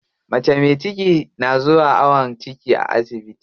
Mace me ciki na zuwa awon ciki a asibiti.